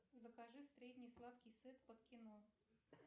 закажи средний сладкий сет под кино